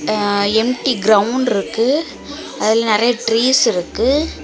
அ empty ground இருக்கு அதுல நெறய ட்ரீஸ் இருக்கு.